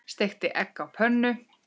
Steikti egg á pönnu.